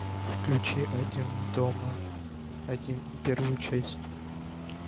включи один дома один первую часть